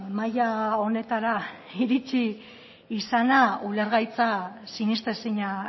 mailaa honetara iritsi izana ulergaitza sinestezina